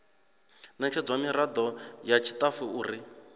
ṋetshedzwa miraḓo ya tshiṱafu uri